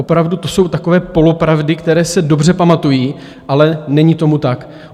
Opravdu to jsou takové polopravdy, které se dobře pamatují, ale není tomu tak.